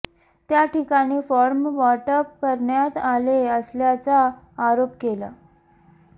त्या ठिकाणी फॉर्म वाटप करण्यात आले असल्याचा आरोप केला